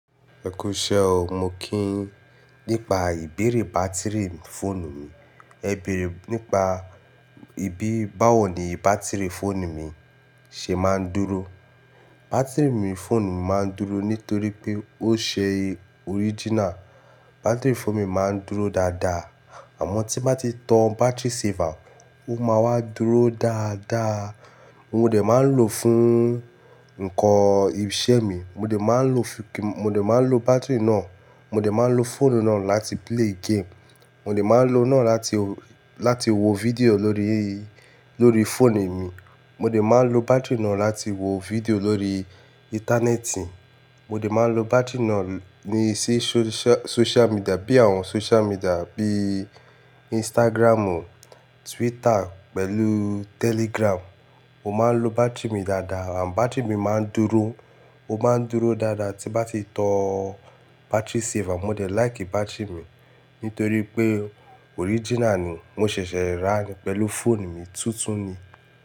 Ẹ kú iṣẹ́ o. Mo kí yin nípa ìbéèrè bátìrì fóònù mi. Ẹ bèèrè nípa báwo ni bátìrì fóònù mi ṣe máa ń dúró. Bátìrì fóònù mi máa ń dúró nítorí pé orijina ni bátìrì fóònù mi máa ń dúró dáadáa. Àmọ́ tí n bá ti tan battery saver, ó máa wá dúró dáadáa. Mo dé máa ń lò fún ìṣe mi, mo dé máa ń lò fóònù náà láti play game. Mo dé tun máa ń lò láti, láti wo fídíò lórí, lórí fóònù mi. Mo dé máa ń lò bátìrì náà láti wo fídíò lórí íńtánẹ́ẹ̀tì. Mo dé máa ń lò bátìrì náà ní sósíà, míḍíà bí i Instagram, Twitter pẹ̀lú Telegram. Mo máa ń lò bátìrì mi dáadáa àmọ́ bátìrì mi máa ń dúró. Ó máa ń dúró dáadáa tí n bá ti tan battery saver. Mo dé feran bátìrì mi nítorí pé orijina ni mo ṣẹ̀ṣẹ̀ rà ni pẹ̀lú fóònù mi, tuntun ni.